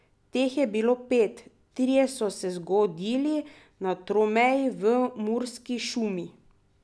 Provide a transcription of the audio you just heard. Teh je bilo pet, trije so se zgodili na tromeji v Murski šumi.